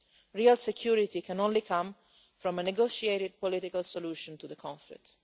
Real security can come only from a negotiated political solution to the conflict.